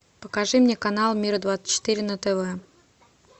покажи мне канал мир двадцать четыре на тв